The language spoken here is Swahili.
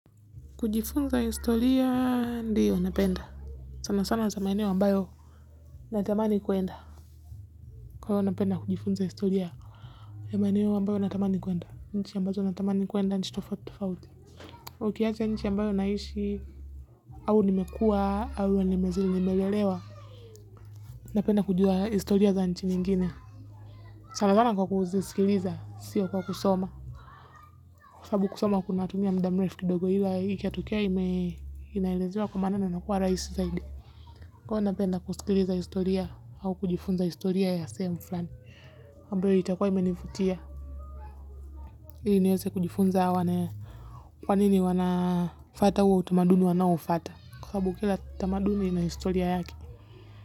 Kujifunza historia ndio napenda. Sana sana za maeneo ambayo natamani kuenda. Kwa hiyo napenda kujifunza historia. Ya maeneo ambayo natamani kuenda. Nchi ambazo natamani kuenda nchi tofauti tofauti. Ukiacha nchi ambayo naishi. Au nimekua, au nimezi nimelelewa. Napenda kujua historia za nchi nyingine. Sana sana kwa kuzisikiliza. Sio kwa kusoma. Kwa sababu kusoma kunatumia muda mrefu kidogo ila. Ikiwa tukia inaelezewa kwa maana na inakuwa rahisi zaidi. Kwa hiyo napenda kusikiliza historia au kujifunza historia ya sehemu fulani ambayo itakuwa imenivutia. Ili niweze kujifunza au nione kwa nini wanafuata huo utamaduni wanaoufuata kwa sababu kila tamaduni ina historia yake.